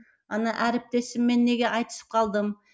ана әріптесіммен неге айтысып қалдым